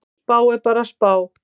Spá er bara spá.